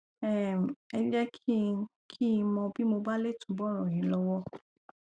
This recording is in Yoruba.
um ẹ jẹ kí n kí n mọ bí mo bá lè túbọ ràn yín lọwọ